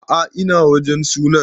A'a ina wajen sunan